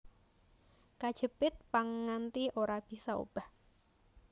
Kejepit pang nganti ora bisa obah